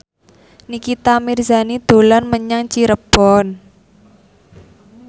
Nikita Mirzani dolan menyang Cirebon